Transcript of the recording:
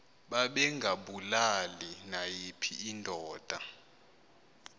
babengabulali nayiphi indoda